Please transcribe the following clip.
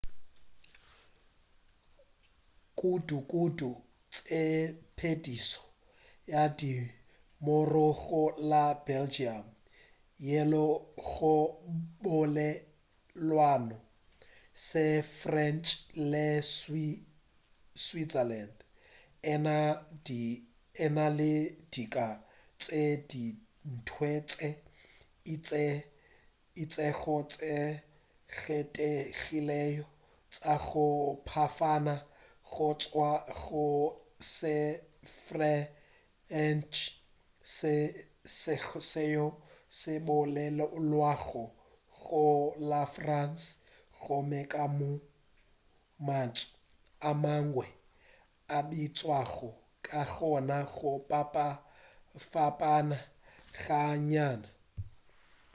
kudu-kudu tshepedišo ya dinomoro go la belgium yeo go bolelwago se-french le switzerland e na le dika tše dingwe tše itšego tše kgethegilego tša go fapana go tšwa go se-freche seo se bolelwago go la france gomme ka moo mantšu a mangwe a bitšwago ka gona go fapana ga nnyane